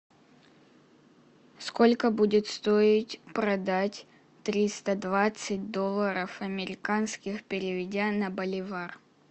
сколько будет стоить продать триста двадцать долларов американских переведя на боливар